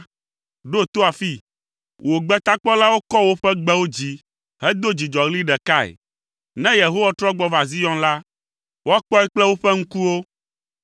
Ɖo to afii, wò gbetakpɔlawo kɔ woƒe gbewo dzi hedo dzidzɔɣli ɖekae. Ne Yehowa trɔ gbɔ va Zion la, woakpɔe kple woƒe ŋkuwo.